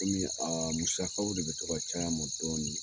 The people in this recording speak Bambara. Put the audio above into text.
Kɔmi a musakaw de bi to caya n mɔ dɔɔnin